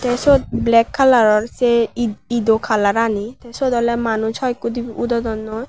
te sot black colouror se ed edo colour rani sot ole manuj hoi ekku udodonnoi.